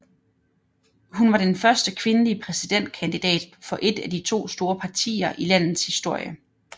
Hun er den første kvindelige præsidentkandidat for et af de to store partier i landets historie